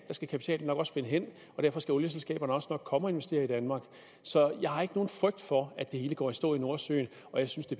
skal kapitalen nok også finde hen og derfor skal olieselskaberne også nok komme og investere i danmark så jeg har ikke nogen frygt for at det hele går i stå i nordsøen og jeg synes det